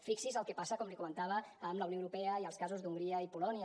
fixi’s el que passa com li comentava amb la unió europea i els casos d’hongria i polònia